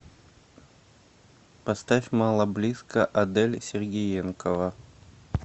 поставь мало близко адель сергеенкова